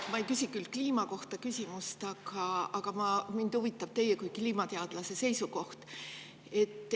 Ma ei küsi küll kliima kohta, aga mind huvitab teie kui kliimateadlase seisukoht.